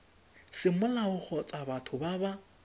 semolao kgotsa batho ba ba